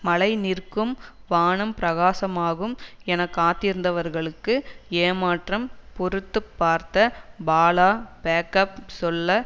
மழை நிற்கும் வானம் பிரகாசமாகும் என காத்திருந்தவர்களுக்கு ஏமாற்றம் பொறுத்து பார்த்த பாலா பேக்கப் சொல்ல